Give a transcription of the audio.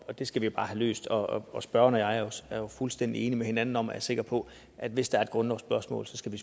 det skal vi bare have løst og og spørgeren og jeg er fuldstændig enige med hinanden om er jeg sikker på at hvis der er grundlovsspørgsmål skal vi